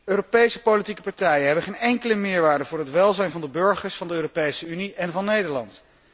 Europese politieke partijen hebben geen enkele meerwaarde voor het welzijn van de burgers van de Europese Unie en van Nederland.